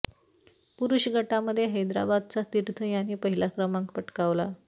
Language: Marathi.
पुरुष गटामध्ये हैदराबादचा तीर्थ याने पहिला क्रमांक पटकावला